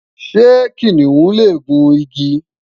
ṣé kìnìún lè gùn igi?